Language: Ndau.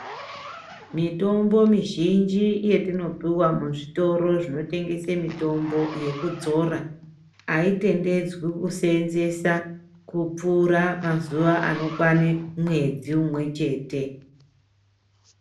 Mitombo mizhinji yetinopuwa muzvitoro zvinotengese mitombo yekudzora haitendedzwi kuseenzesa kupfuura mazuva anokwane mwedzi umwe chete.